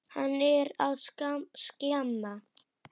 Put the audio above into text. Hann er að skemma.